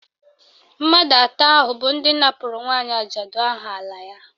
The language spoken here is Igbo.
Mmadụ atọ ahụ bụ ndị napụrụ nwaanyị ajadu ahụ ala ya